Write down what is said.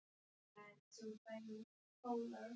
Dramatík í ítölskum banka